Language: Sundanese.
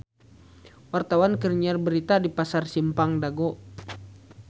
Wartawan keur nyiar berita di Pasar Simpang Dago